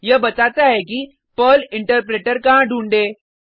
यह बताता है कि पर्ल इंटरप्रेटर कहाँ ढूंढे